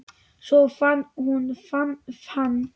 Svo fann hún hann.